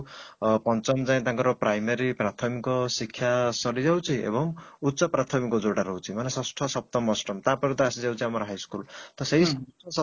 ଅଂ ପଞ୍ଚମ ଯାଏଁ ତାଙ୍କର primary ପ୍ରାଥମିକ ଶିକ୍ଷା ସରିଯାଉଛି ଏବଂ ଉଚ୍ଚ ପ୍ରାଥମିକ ଯୋଉଟା ରହୁଛି ମାନେ ଷଷ୍ଠ, ସପ୍ତମ, ଅଷ୍ଟମ ତାପରେ ତ ଆସିଯାଉଛି ଆମର high school ତ ସେଇ ସପ୍ତମ